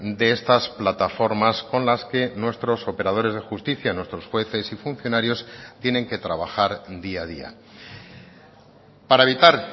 de estas plataformas con las que nuestros operadores de justicia nuestros jueces y funcionarios tienen que trabajar día a día para evitar